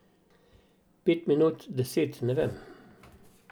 Pet minut, deset, ne vem.